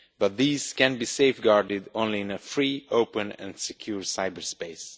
But these can be safeguarded only in a free, open and secure cyberspace.